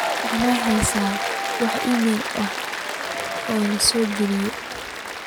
waxaan hayaa wax iimayl ah oo soo galay